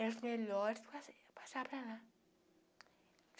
Era os melhores passa passar para lá.